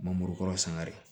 Mangoro kɔrɔ sangare